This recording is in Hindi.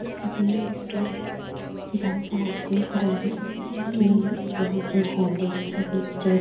ये एक जेनरल स्टोर है जहाँ पर आप देख रहे हैं कि यहाँ पे हॉर्लिक्स --